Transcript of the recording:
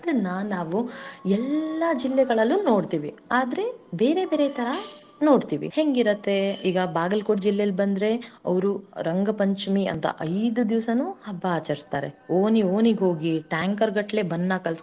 ಇಗ ನಾವು ಎಲ್ಲಾ ಜಿಲ್ಲೆಗಳಲ್ಲೂ ನೋಡುತಿವಿ ಆದರೆ ಬೇರೆ ಬೇರೆ ತರಹ ನೋಡುತ್ತಿವಿ ಹೆಂಗಿರುತ್ತೆ ಈಗ Bagalkot ಜಿಲ್ಲೆಲಿ ಬಂದರೆ ಅವರು ರಂಗಪಂಚಮಿ ಅಂತ ಐದ ದಿವಸನು ಹಬ್ಬಾ ಆಚರಿಸ್ತಾರೆ ಓಣಿ ಓಣಿಗೋಗಿ ಟ್ಯಾಂಕರ್ ಗಟ್ಟಲೆ ಬಣ್ಣ.